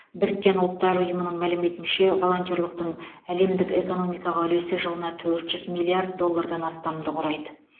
біріккен ұлттар ұйымының мәліметінше волонтерлықтың әлемдік экономикаға үлесі жылына төрт жүз миллиард доллардан астамды құрайды